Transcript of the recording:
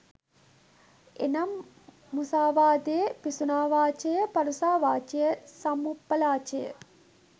එනම්, මුසාවාදය, පිසුනාවාචාය, පරුෂාවාචාය, සම්ඵප්‍රලාපය